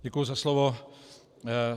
Děkuju za slovo.